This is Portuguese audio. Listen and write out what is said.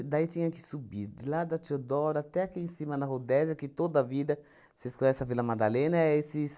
E daí tinha que subir de lá da Teodora até aqui em cima, na Rodésia, que toda vida, vocês conhecem a Vila Madalena, é esses...